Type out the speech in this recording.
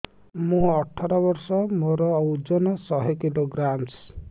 ମୁଁ ଅଠର ବର୍ଷ ମୋର ଓଜନ ଶହ କିଲୋଗ୍ରାମସ